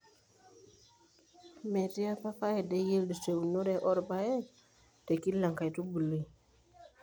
METII APA faida e yielfd tunore oorpaek te kila enkaitubului.